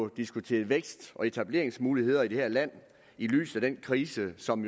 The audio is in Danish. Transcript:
diskuteret vækst og etableringsmuligheder i det her land i lyset af den krise som